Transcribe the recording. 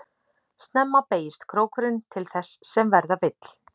Snemma beygist krókurinn til þess sem verða vill.